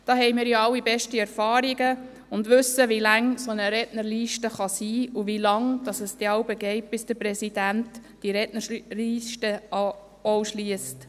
Damit haben wir alle ja beste Erfahrungen gemacht und wissen, wie lang eine solche Rednerliste sein kann und wie lange es jeweils dauert, bis der Präsident die Rednerliste schliesst.